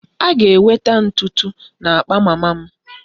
A ga-enwe ntụ ntụ na akpa mama m